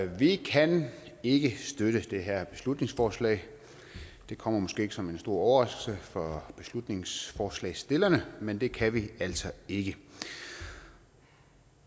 vi kan ikke støtte det her beslutningsforslag det kommer måske ikke som en stor overraskelse for beslutningsforslagsstillerne men det kan vi altså ikke